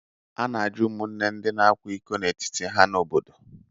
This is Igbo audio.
A na-ajụ ụmụnne ndị na-akwa iko n'etiti ha n’obodo